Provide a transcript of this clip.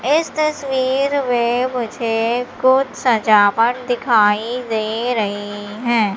इस तस्वीर में मुझे कुछ सजावट दिखाई दे रही हैं।